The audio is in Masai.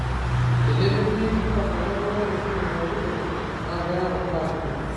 Tenemeti mpango nabo naitushulu pooki toki, na keyau mbaa kumok.